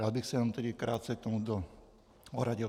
Rád bych se jenom tedy krátce k tomuto ohradil.